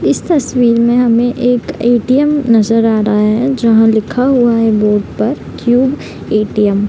इस तस्वीर में हमे एक ए.टी.एम. नजर आ रहा है जहाँ लिखा हुआ है बोर्ड पर क्यूब ए.टी.एम. |